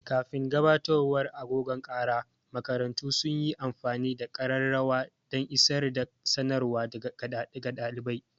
Kafin gabatowar agogon kara, makarantu sun yi amfani da ƙararrawa dan isar da sanarwa ga ɗalibai.